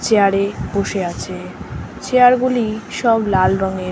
Chair এ বসে আছে। চেয়ার গুলি সব লাল রঙের।